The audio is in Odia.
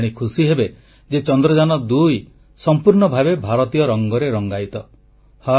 ଆପଣ ଜାଣି ଖୁସି ହେବେ ଯେ ଚନ୍ଦ୍ରଯାନ2 ସମ୍ପୂର୍ଣ୍ଣ ଭାବେ ଭାରତୀୟ ରଙ୍ଗରେ ରଙ୍ଗାୟିତ